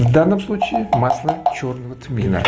в данном случае масло чёрного тмина